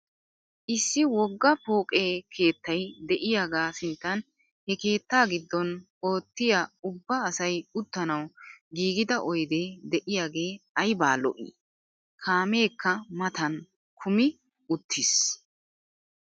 Issi wogga. pooqe keettay de'iyagaa sinttan he keettaa giddon oottiya ubba asay uttanawu giigida oyde de'iyagee ayba lo'ii! Kaameekka matan kumi uttiis.